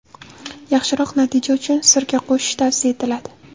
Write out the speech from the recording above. Yaxshiroq natija uchun sirka qo‘shish tavsiya etiladi.